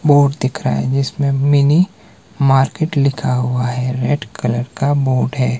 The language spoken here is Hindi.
बोर्ड दिख रहा है जिसमें मिनी मार्केट लिखा हुआ है रेड कलर का बोर्ड है।